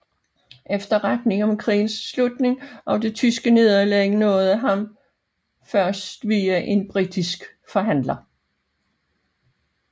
Efterretningen om krigens slutning og det tyske nederlag nåede ham først via en britisk forhandler